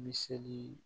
Miseli